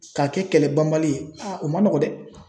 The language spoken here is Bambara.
K'a kɛ kɛlɛ banbali ye o ma nɔgɔ dɛ !